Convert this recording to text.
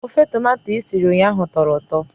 Ofe tomato i siri ụnyahụ tọrọ ụtọ